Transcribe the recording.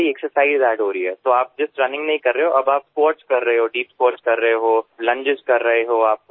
તો તમે માત્ર રનિંગ નથી કરતા અને ઉઠકબેઠક કરી રહ્યા છો દીપ સ્ક્વોટ્સ કરી રહ્યા છો તમે લુંગેસ કરી રહ્યા છો તમે આગળ ઝૂકી ફોરવર્ડ બેન્ટ કરી રહ્યા છો